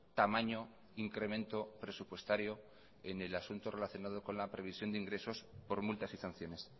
tamaño incremento presupuestario en el asunto relacionado con la previsión de ingresos por multas y sanciones